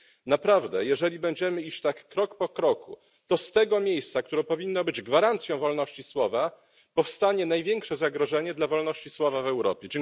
Naprawdę, jeżeli będziemy iść tak krok po kroku, to z tego miejsca, które powinno być gwarancją wolności słowa, powstanie największe zagrożenie dla wolności słowa w Europie.